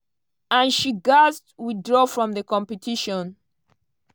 and she gatz withdraw from di competition.